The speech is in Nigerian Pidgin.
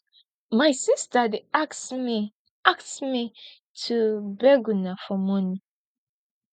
my sister dey as me as me to beg una for money